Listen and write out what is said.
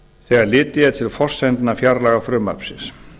þegar litið er til forsendna fjárlagafrumvarpsins